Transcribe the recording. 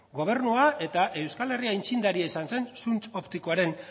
gobernua eta euskal herria aitzindaria izan zen zuntz optikoaren